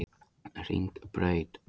Hringbraut